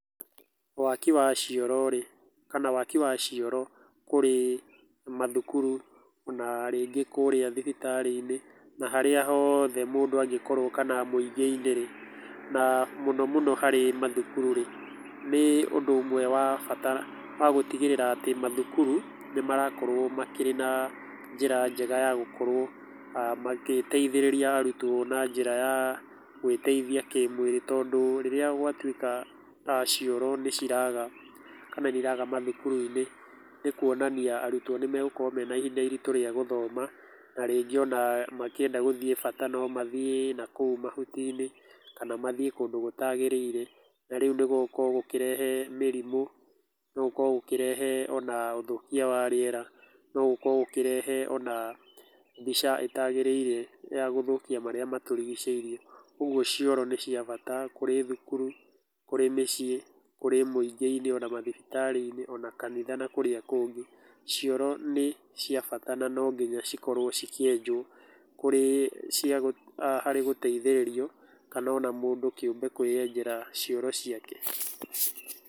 Waki wa cioro rĩ, kana waki wa cioro kũrĩ mathukuru, kana ona rĩngĩ kũrĩa mathibitarĩ-inĩ, na harĩ hothe mũndũ angĩkorwo kana mũingĩ-inĩ rĩ, na mũno mũno harĩ mathukuru rĩ, nĩ ũndũ ũmwe wa bata wa gũtigĩrĩra atĩ mathukuru nĩ marakorwo makĩrĩ na njĩra njega ya gũkorwo magĩteithĩrĩria arutwo na njĩra ya gwĩteithia kĩmwĩrĩ, tondũ rĩrĩa gwatuĩka cioro nĩ ciraga kana nĩ iraga mathukuru-inĩ, nĩ kuonania arutwo nĩ magũkorwo mena ihinda iritũ rĩa gũthoma, na rĩngĩ ona makĩenda gũthiĩ bata no mathiĩ nakũu mahuti-inĩ, kana mathiĩ kũndũ gũtagĩrĩire, na rĩu nĩ gũgũkorwo gũkĩrehe mĩrimũ, nĩ gũgũkorwo gũkĩrehe ona ũthũkia wa rĩera, no gũkorwo gũkĩrehe ona mbica ĩtagĩrĩire ya gũthũkia marĩa matũrigicĩirie. Ũguo cioro nĩ cia bata kũrĩ thukuru, kũrĩ mĩciĩ, kũrĩ mũingĩ-inĩ, ona mathibitarĩ-inĩ, ona kanitha na kũrĩa kũngĩ. Cioro nĩ cia bata na no nginya cikorwo cikĩenjwo kũrĩ cia harĩ gũteithĩrio, kana ona mũndũ kĩũmbe kwĩyenjera cioro ciake.